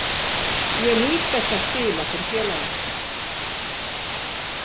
Ég nýt þess að spila fyrir félagið.